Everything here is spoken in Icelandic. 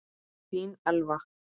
Þín Elfa.